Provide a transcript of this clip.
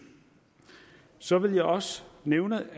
så vil jeg også nævne